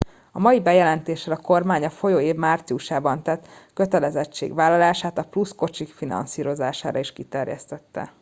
a mai bejelentéssel a kormány a folyó év márciusában tett kötelezettségvállalását a plusz kocsik finanszírozására is kiterjesztette